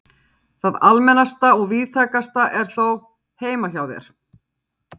Það almennasta og víðtækasta er þó: Heima hjá þér.